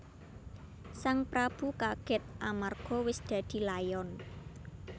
Sang prabu kagèt amarga wis dadi layon